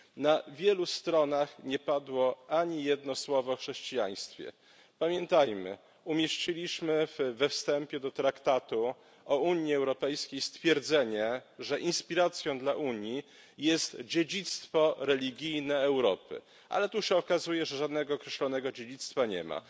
Na wielu stronach nie padło ani jedno słowo o chrześcijaństwie. Pamiętajmy, umieściliśmy we wstępie do Traktatu o Unii Europejskiej stwierdzenie, że inspiracją dla Unii jest dziedzictwo religijne Europy, ale tu się okazuje, że żadnego określonego dziedzictwa nie ma.